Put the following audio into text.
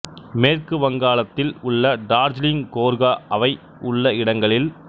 மேற்கு வங்காளத்தில் உள்ள டார்ஜிலிங் கோர்கா அவை உள்ள இடங்களில்